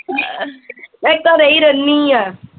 ਮੈਂ ਘਰੇ ਈ ਰਹਿਨੀ ਆ